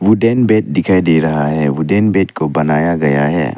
Wooden bed दिखाई दे रहा है वुडन बेड को बनाया गया है।